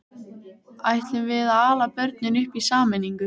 Ætlum við að ala börnin upp í sameiningu?